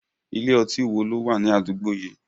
Ilé ọtí wo ló wà ní àdúgbò yìí?